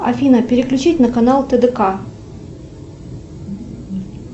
афина переключить на канал тэ дэ ка